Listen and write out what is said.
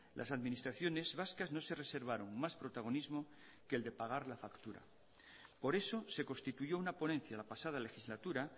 las administraciones vascas no se reservaron más protagonismo que el de pagar la factura por eso se constituyó una ponencia la pasada legislatura